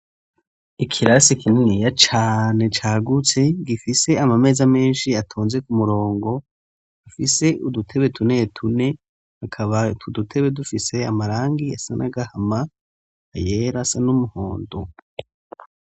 Ikirasi kininiya cane, cagutse gifise Amameza menshi, atonze ku murongo gifise udutebe tune tune, akaba udutebe dufise amarangi asa n'agahama ,ayera asa n'umuhondo.